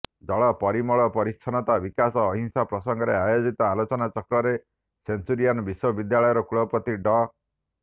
ଜଳ ପରିମଳ ପରିଚ୍ଛନ୍ନତା ବିକାଶ ଅହିଂସା ପ୍ରସଙ୍ଗରେ ଆୟୋଜିତ ଆଲୋଚନାଚକ୍ରରେ ସେଞ୍ଚୁରିଆନ୍ ବିଶ୍ବବିଦ୍ୟାଳୟର କୁଳପତି ଡ